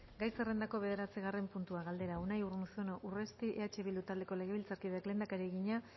gai zerrendako bederatzigarren puntua galdera unai urruzuno urresti eh bildu taldeko legebiltzarkideak lehendakariari egina